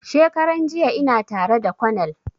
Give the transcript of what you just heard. Shekaran jiya ina tara da konel